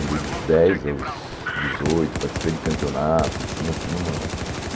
Andei dos dez aos dezoito, participei de campeonato. Tinha assim uma